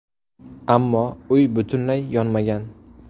Ammo uy butunlay yonmagan.